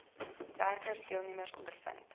werkende deelnemers ondervind